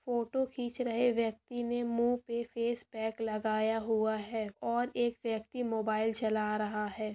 photo रहे व्यक्ति ने मुँह पे फेसपैक लगाया हुआ है और एक व्यक्ति मोबाइल चला रहा है